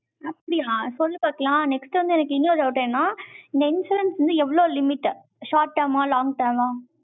அப்படியா? இப்ப வந்து பாக்கலாம். next வந்து எனக்கு இன்னொரு doubt என்னன்னா, இந்த insurance வந்து எவ்வளவு limit short term ஆ? long term ஆ